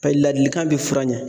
Paseke ladilikan bi fura ɲa